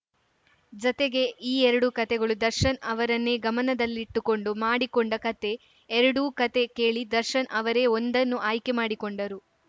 ಜತೆಗೆ ಈ ಎರಡೂ ಕತೆಗಳು ದರ್ಶನ್‌ ಅವರನ್ನೇ ಗಮನದಲ್ಲಿಟ್ಟುಕೊಂಡು ಮಾಡಿಕೊಂಡ ಕತೆ ಎರಡೂ ಕತೆ ಕೇಳಿ ದರ್ಶನ್‌ ಅವರೇ ಒಂದನ್ನು ಆಯ್ಕೆ ಮಾಡಿಕೊಂಡರು